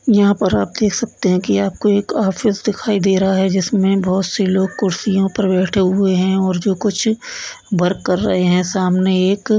यहाँ पर आप देख सकते हैं कि आपको एक ऑफिस दिखाई दे रहा है जिसमें बहुत से लोग कुर्सियों पर बैठे हुए हैं और जो कुछ वर्क कर रहे है सामने एक --